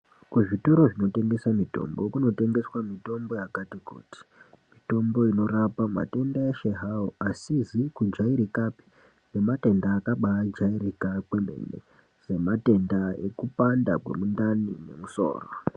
Kuzvitoro zvinotengesa mitombo kunotengeswa mitombo yakati kuti. Mitombo inorapa matenda eshe hawo, asizi kujairikapi nematenda akabaijairika kwemene, sematenda ekupanda kwemundani nemusoro.